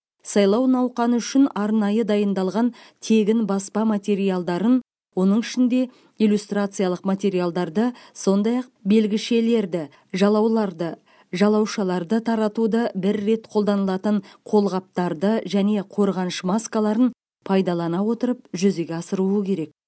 сайлау науқаны үшін арнайы дайындалған тегін баспа материалдарын оның ішінде иллюстрациялық материалдарды сондай ақ белгішелерді жалауларды жалаушаларды таратуды бір рет қолданылатын қолғаптарды және қорғаныш маскаларын пайдалана отырып жүзеге асыруы керек